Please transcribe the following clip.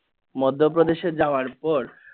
মধ্যপ্রেদেশে যাওয়ার পর